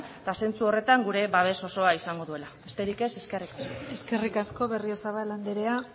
eta zentzu horretan gure babes osoa izango duela besterik ez eskerrik asko eskerrik asko berriozabal andrea